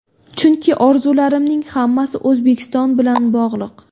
Chunki orzularimning hammasi O‘zbekiston bilan bog‘liq.